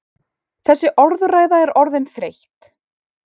Þessi orðræða er orðin þreytt!